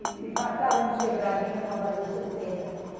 E faltavam uns quebradinhos para fazer os setenta.